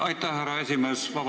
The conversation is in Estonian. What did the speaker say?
Aitäh, härra esimees!